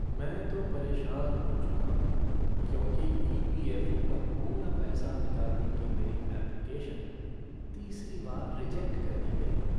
मैं तो परेशान हो चुका हूँ क्योंकि ई. पी. एफ़. ओ. का पूरा पैसा निकालने की मेरी ऐप्लिकेशन तीसरी बार रिजेक्ट कर दी गई है।